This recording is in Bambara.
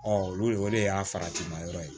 olu o de y'a farati ma yɔrɔ ye